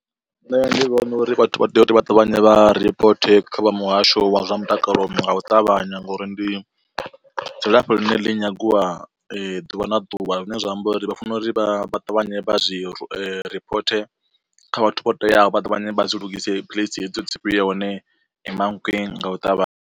Nṋe ndi vhona uri vhathu vha tea uri vha ṱavhanye vha ripote kha vha muhasho wa zwa mutakalo nga u ṱavhanya ngauri ndi dzilafho ḽine ḽi nyagiwa ḓuvha na ḓuvha. Zwine zwa amba uri vha fanela uri vha ṱavhanye vha zwi ripote kha vhathu vho teaho vha ṱavhanye vha zwi lugise philisi hedzo dzi vhuye hone Mankweng nga u ṱavhanya.